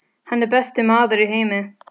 Hann er besti maður í heimi.